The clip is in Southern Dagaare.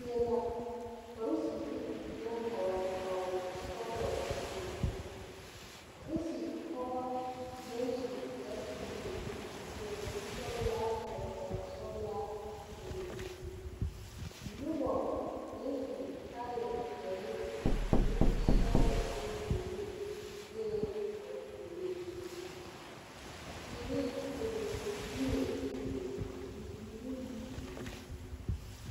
Zie la poriserre naŋ hɔɔle kpawoɔ sɔglɔ bebe porose pɔgɔ naŋ su kpare bluu seɛ kurisɔglaa hɔɔle kpawosɔglaa bebe nobɔ naŋ su kaayɛ peɛle ne sɔglɔ ne zeere bee ba puoriŋ teere bebe yie bebe bibiire bebe.